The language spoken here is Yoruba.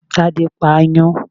Tádé pa aáyán